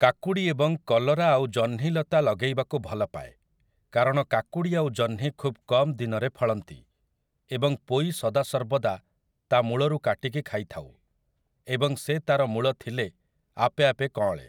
କାକୁଡ଼ି ଏବଂ କଲରା ଆଉ ଜହ୍ନି ଲତା ଲଗେଇବାକୁ ଭଲ ପାଏ, କାରଣ କାକୁଡ଼ି ଆଉ ଜହ୍ନି ଖୁବ୍ କମ ଦିନରେ ଫଳନ୍ତି । ଏବଂ ପୋଇ ସଦା ସର୍ବଦା ତା ମୂଳରୁ କାଟିକି ଖାଇଥାଉ ଏବଂ ସେ ତା'ର ମୂଳ ଥିଲେ ଆପେ ଆପେ କଅଁଳେ ।